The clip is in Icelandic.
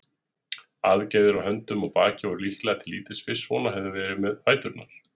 Aðgerðir á höndum og baki væru líklega til lítils fyrst svona hefði farið með fæturna.